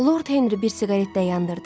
Lord Henri bir siqaret də yandırdı.